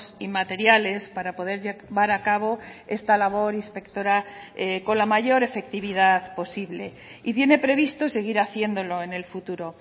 y materiales para poder llevar a cabo esta labor inspectora con la mayor efectividad posible y tiene previsto seguir haciéndolo en el futuro